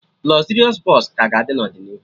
Lọzịrịọs Bọsụ ka ga-adị n'ọdịnihu